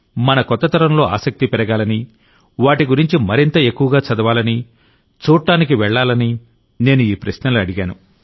మన కొత్త తరంలో ఆసక్తి పెరగాలని వాటి గురించి మరింత ఎక్కువగా చదవాలని చూడ్డానికి వెళ్లాలని నేను ఈ ప్రశ్నలు అడిగాను